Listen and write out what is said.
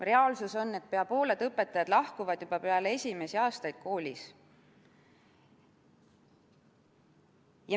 Reaalsus on, et pea pooled õpetajad lahkuvad koolist juba peale esimesi aastaid.